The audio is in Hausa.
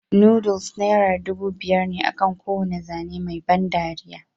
Noodles naira dubu biyar ne akan kowane zane mai ban dariya